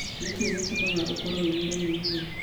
Nĩ kĩĩ gĩtũmaga ũkorũo ũrĩ mũremi ũguo?